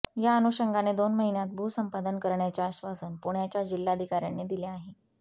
त्या अनुषंगाने दोन महिन्यांत भूसंपादन करण्याचे आश्वासन पुण्याच्या जिल्हाधिकाऱ्यांनी दिले आहे